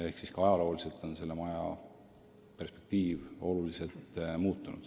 Nii et ajaloo käigus on selle maja perspektiiv oluliselt muutunud.